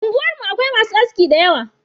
Unguwar mu Akwai masu aski dayawa